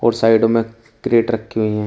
और साइड में क्रैड रखी हुई है।